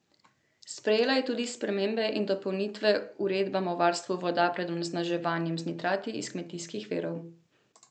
Sprejela je tudi spremembe in dopolnitve uredbe o varstvu voda pred onesnaževanjem z nitrati iz kmetijskih virov.